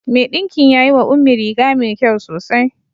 Mai ɗinkin ya yi wa Ummi riga mai kyau sosai.